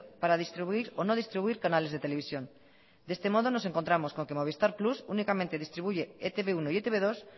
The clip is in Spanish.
para distribuir o no distribuir canales de televisión de este modo nos encontramos con que movistar plus únicamente distribuye e te be uno y e te be dos